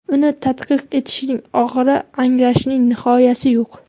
Uni tadqiq etishning oxiri, anglashning nihoyasi yo‘q.